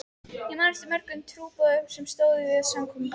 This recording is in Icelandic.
Ég man eftir mörgum trúboðum sem stóðu að samkomum.